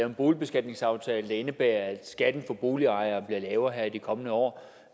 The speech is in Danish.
en boligbeskatningsaftale der indebærer at skatten for boligejerne bliver lavere her i de kommende år